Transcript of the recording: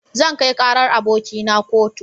Zan kai karar abokina a kotu.